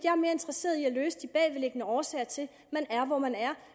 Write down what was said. er mere interesseret i at løse de bagvedliggende årsager til at man er hvor man er